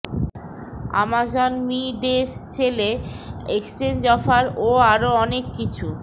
Amazon মি ডে সেলে এক্সচেঞ্জ অফার ও আরও অনেক কিছু